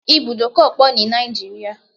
There are many bus stops in Nigeria